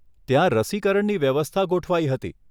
ત્યાં રસીકરણની વ્યવસ્થા ગોઠવાઈ હતી.